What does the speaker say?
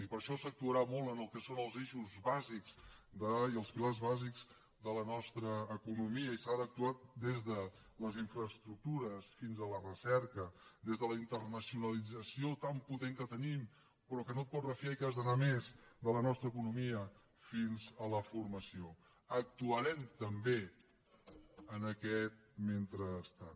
i per això s’actuarà molt en el que són els eixos bàsics i els pilars bàsics de la nostra economia i s’ha d’actuar des de les infraestructures fins a la recerca des de la internacionalització tan potent que tenim però que no te’n pots refiar i que has d’anar a més de la nostra economia fins a la formació actuarem també en aquest mentrestant